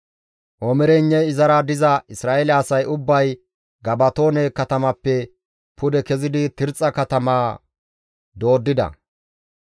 Omireynne izara diza Isra7eele asay ubbay Gabatoone katamappe pude kezidi Tirxxa katamaa dooddida.